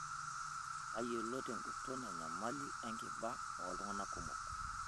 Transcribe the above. Tayiolo tenguton enyamali enkiba ooltungana kumok.